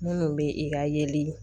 Minnu bɛ i ka yeli